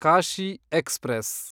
Kashi express